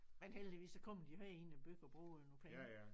Men heldigvis så kommer de jo herind i æ by og bruger nogle penge